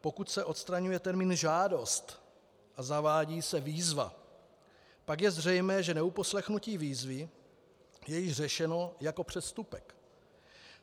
Pokud se odstraňuje termín žádost a zavádí se výzva, pak je zřejmé, že neuposlechnutí výzvy je již řešeno jako přestupek.